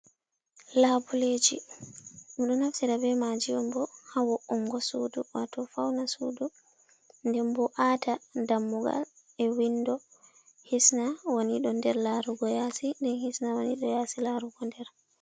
Labuleji minɗo naftira be maji oo bo ha wuongo sudu, wato fauna sudu nden bo wata dammugal e windo hisna wanido nder larugo yasi, nden hisna wanido yasi larugo nder.